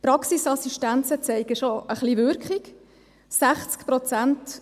Die Praxisassistenzen zeigen schon ein bisschen Wirkung: